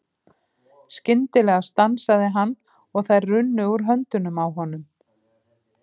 Skyndilega stansaði hann og þær runnu úr höndunum á honum.